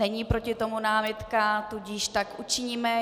Není proti tomu námitka, tudíž tak učiníme.